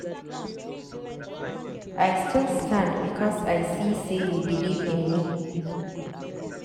I still stand because I see sey you beliv in me.